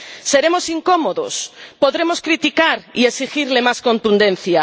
Seremos incómodos, podremos criticar y exigirle más contundencia